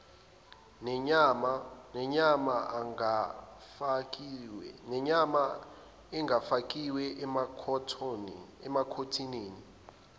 nenyama engafakiwe emakhathonini